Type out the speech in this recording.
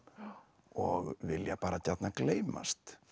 og vilja gjarnan gleymast